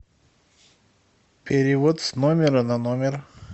перевод с номера на номер